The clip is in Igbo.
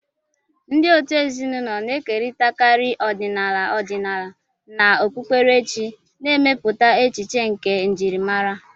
Ndị òtù ezinụlọ na-ekerịtakarị ọdịnala ọdịnala na okpukperechi, na-emepụta echiche nke njirimara